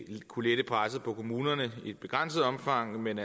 kunne lette presset på kommunerne i et begrænset omfang men